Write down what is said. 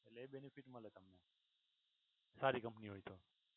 અને એ બેનફિટ મળે તમને. સારી company હોય છે.